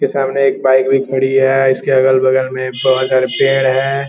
उसके सामने एक बाइक भी खड़ी है इसके अगल-बगल में बहुत सारे पेड़ भी हैं।